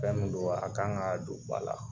Fɛn min don a kan ka don ba la